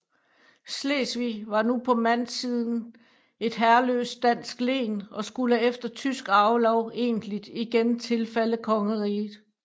Slesvig var nu på mandsiden et herreløst dansk len og skulle efter tysk arvelov egentlig igen tilfalde kongeriget